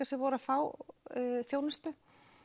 sem voru að fá þjónustu